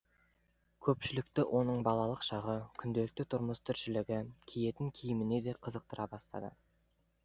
көпшілікті оның балалық шағы күнделікті тұрмыс тіршілігі киетін киіміне де қызықтыра бастады